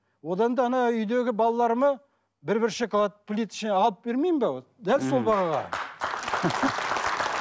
одан да ана үйдегі балаларыма бір бір шоколад плиточный алып бермеймін бе вот дәл сол бағаға